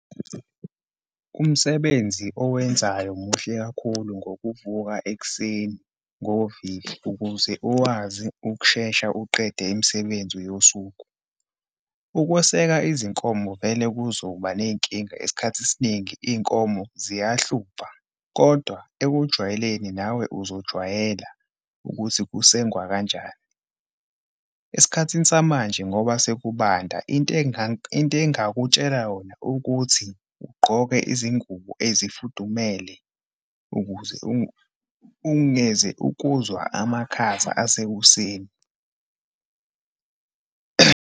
Umsebenzi owenzayo muhle kakhulu, ngokuvuka ekuseni ngovivi ukuze ukwazi ukushesha uqede imisebenzi yosuku. Ukweseka izinkomo vele kuzoba neyinkinga, esikhathi esiningi iyinkomo ziyahlupha kodwa ekujwayeleni nawe uzojwayela ukuthi kusengwa kanjani. Esikhathini samanje ngoba sekubanda into into engingakutshela yona ukuthi, ugqoke izingubo ezifudumele ukuze ungeze ukuzwa amakhaza asekuseni.